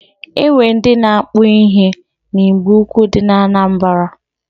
E nwere ndị na-akpụ ihe na Igboukwu dị na Anambara.